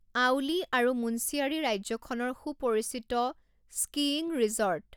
আউলি আৰু মুন্সিয়াৰী ৰাজ্যখনৰ সুপৰিচিত স্কীইং ৰিজৰ্ট।